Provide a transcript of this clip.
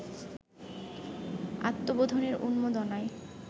আত্মবোধনের উন্মাদনায়